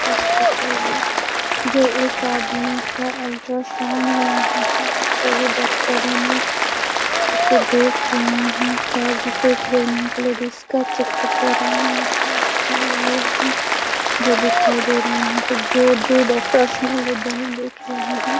Hospital है जो एक आदमी का अल्ट्रासाउंड हो रहा है। सभी डॉक्टर और नर्स उसे देख रहे हैं। शायद ये कोई प्रेग्नेंट लेडीज का चेकअप हो रहा है यहाँ पे हो रहा जो दिखाई दे रहा है यहाँ पे जो दो डॉक्टर्स है वो दोनों देख रहे हैं।